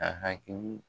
A hakili